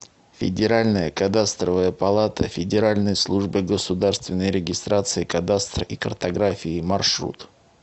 федеральная кадастровая палата федеральной службы государственной регистрации кадастра и картографии маршрут